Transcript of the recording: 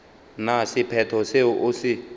na sephetho seo o se